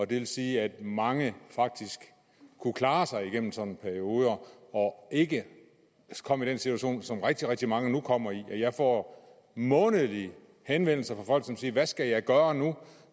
det vil sige at mange faktisk kunne klare sig igennem sådan nogle perioder og ikke kom i den situation som rigtig rigtig mange nu kommer i jeg får månedligt henvendelser fra folk som siger hvad skal jeg gøre nu